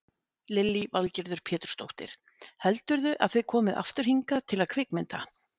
Lillý Valgerður Pétursdóttir: Heldurðu að þið komið aftur hingað til að kvikmynda?